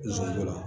Nisɔndiya